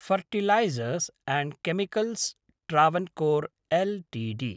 fertilisers and chemicals Travancore Ltd